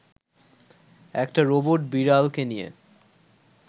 একটি রোবট বিড়ালকে নিয়ে